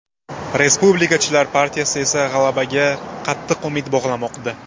Respublikachilar partiyasi esa g‘alabaga qattiq umid bog‘lamoqda.